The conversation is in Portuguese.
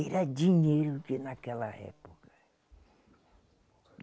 Era dinheiro de naquela época.